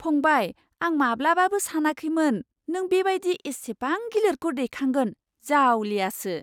फंबाय! आं माब्लाबाबो सानाखैमोन नों बेबायदि एसेबां गिलिरखौ दैखांगोन, जावलियासो! !